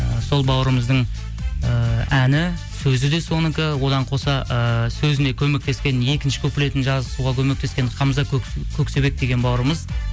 і сол бауырымыздың ііі әні сөзі де соныкы одан қоса ыыы сөзіне көмектескен екінші куплетін жазғысуға көмектескен хамза көксебек деген бауырымыз